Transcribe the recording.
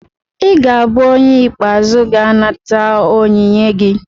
ị ga-abụ onye ikpeazụ ga-anata onyinye gị